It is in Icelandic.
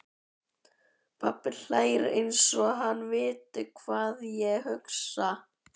Pabbi hlær einsog hann viti hvað ég hugsa.